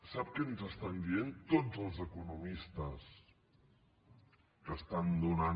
sap què ens estan dient tots els economistes que estan donant